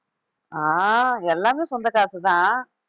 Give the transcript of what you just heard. ஆஹ் எல்லாமே சொந்தக் காசுதான்